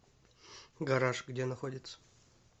гараж где находится